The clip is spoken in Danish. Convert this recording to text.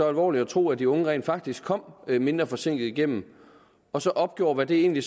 alvorligt og tro at de unge rent faktisk kom mindre forsinkede igennem og så opgjorde hvad det egentlig